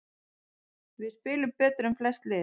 Við spilum betur en flest lið